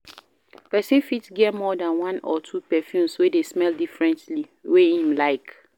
Person fit get more than one or two perfumes wey de smell differently wey him like